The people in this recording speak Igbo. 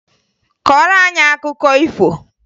Kọọrọ anyị akụkọ ifo!